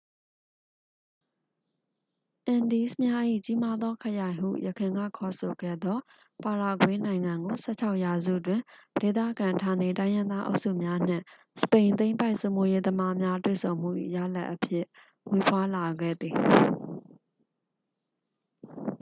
"""အင်ဒီးစ်များ၏ ကြီးမားသောခရိုင်" ဟု ယခင်က ခေါ်ဆိုခဲ့သော ပါရာဂွေးနိုင်ငံကို ၁၆ ရာစုတွင် ဒေသခံဌာနေတိုင်းရင်းသားအုပ်စုများနှင့် စပိန်သိမ်းပိုက်စိုးမိုးရေးသမားများ တွေ့ဆုံမှု၏ ရလာဒ်အဖြစ် မွေးဖွားလာခဲ့သည်။